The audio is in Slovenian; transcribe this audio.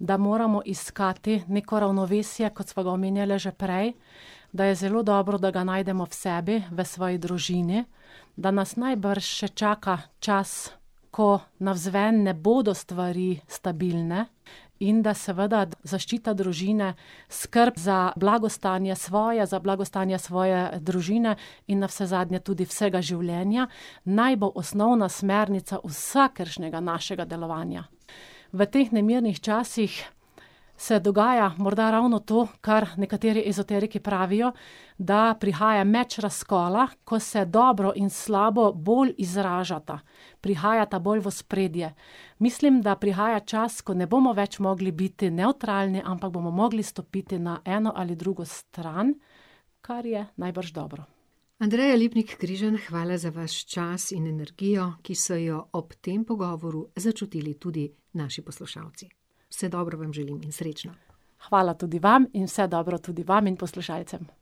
da moramo iskati neko ravnovesje, kot sva ga omenjali že prej, da je zelo dobro, da ga najdemo v sebi, v svoji družini, da nas najbrž še čaka čas, ko navzven ne bodo stvari stabilne, in da seveda zaščita družine, skrb za blagostanje svoje, za blagostanje svoje družine in navsezadnje tudi vsega življenja naj bo osnovna smernica vsakršnega našega delovanja. V teh nemirnih časih se dogaja morda ravno to, kar nekateri ezoteriki pravijo, da prihaja meč razkola, ko se dobro in slabo bolj izražata. Prihajata bolj v ospredje. Mislim, da prihaja čas, ko ne bomo več mogli biti nevtralni, ampak bomo mogli stopiti na eno ali drugo stran, kar je najbrž dobro. Andreja Lipnik Križan, hvala za vaš čas in energijo, ki so jo ob tem pogovoru začutili tudi naši poslušalci. Vse dobro vam želim in srečno. Hvala tudi vam in vse dobro tudi vam in poslušalcem.